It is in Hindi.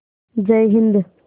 जय हिन्द